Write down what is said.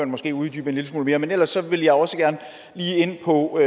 måske uddybe en lille smule mere men ellers vil jeg også gerne lige ind på